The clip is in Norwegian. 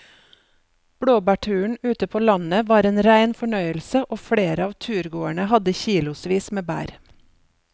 Blåbærturen ute på landet var en rein fornøyelse og flere av turgåerene hadde kilosvis med bær.